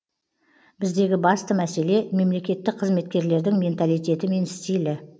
біздегі басты мәселе мемлекеттік қызметкерлердің менталитеті мен стилі